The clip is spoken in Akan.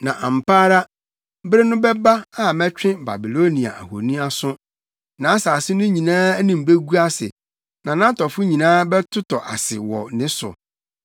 Na ampa ara bere no bɛba a mɛtwe Babilonia ahoni aso; nʼasase no nyinaa anim begu ase na nʼatɔfo nyinaa bɛtotɔ ase wɔ ne so.